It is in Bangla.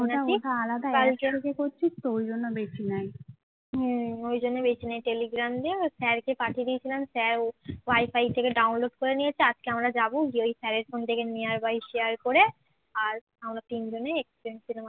ওয়াইফাই থেকে ডাউনলোড করে নিয়েছে আজকে আমরা যাব গিয়ে ওই sir এর ফোন থেকে near by share করে আর আমরা তিনজনে এক্স প্রেম cinema টা